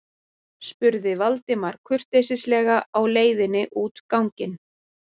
spurði Valdimar kurteislega á leiðinni út ganginn.